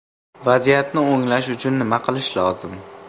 Vaziyatni o‘nglash uchun nima qilish lozim?